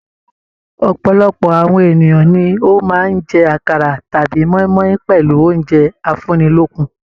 Ọ̀pọ̀lọpọ̀ àwọn ènìyàn ni ó máa ń jẹ àkàrà tàbí moimoi pẹlú oúnjẹ afunilokun.